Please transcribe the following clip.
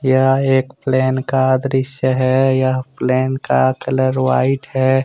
यह एक प्लेन का दृश्य है यह प्लेन का कलर व्हाइट है।